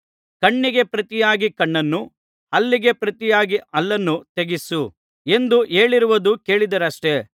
ಕಣ್ಣಿಗೆ ಪ್ರತಿಯಾಗಿ ಕಣ್ಣನ್ನು ಹಲ್ಲಿಗೆ ಪ್ರತಿಯಾಗಿ ಹಲ್ಲನ್ನು ತೆಗೆಯಿಸು ಎಂದು ಹೇಳಿರುವುದು ಕೇಳಿದ್ದೀರಷ್ಟೆ